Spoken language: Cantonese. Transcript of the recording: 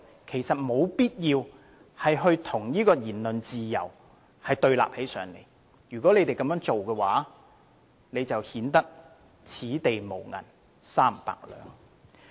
其實並無必要把反對宣揚"港獨"與言論自由對立，這樣做只會顯得"此地無銀三百兩"。